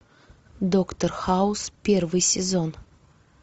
доктор хаус первый сезон